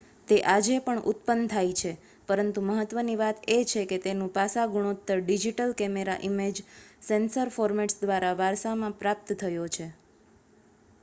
તે આજે પણ ઉત્પન્ન થાય છે પરંતુ મહત્ત્વની વાત એ છે કે તેનું પાસા ગુણોત્તર digital camera image sensor formats દ્વારા વારસામાં પ્રાપ્ત થયો છે